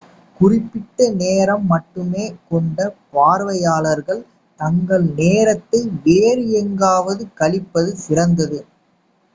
குறிப்பிட்ட நேரம் மட்டுமே கொண்ட பார்வையாளர்கள் தங்கள் நேரத்தை வேறு எங்காவது கழிப்பது சிறந்தது